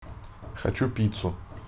хочу пиццу